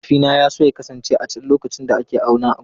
Mahaifina ya so ya kasance a can lokacin da ake auna gonakin.